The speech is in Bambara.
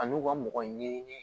A n'u ka mɔgɔ ɲɛɲini